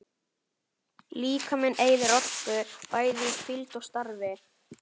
Líkaminn eyðir orku, bæði í hvíld og starfi.